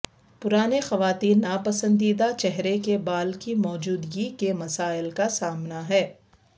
پرانے خواتین ناپسندیدہ چہرے کے بال کی موجودگی کے مسائل کا سامنا ہے